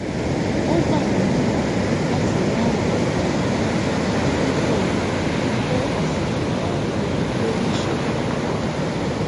ó gbà wón níyànjú láti wá ìrànlọwọ onímọ dípò kíkó àṣìkò bárakú lórí ìṣòro wọn